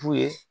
F'u ye